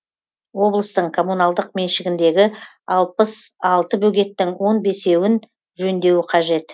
облыстың коммуналдық меншігіндегі алпыс алты бөгеттің он бесеуін жөндеуі қажет